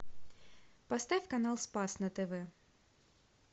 поставь канал спас на тв